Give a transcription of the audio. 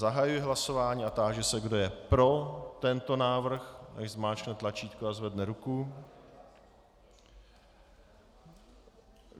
Zahajuji hlasování a táži se, kdo je pro tento návrh, ať zmáčkne tlačítko a zvedne ruku.